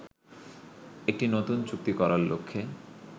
একটি নতুন চুক্তি করার লক্ষ্যে